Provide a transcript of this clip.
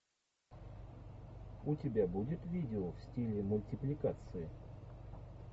у тебя будет видео в стиле мультипликации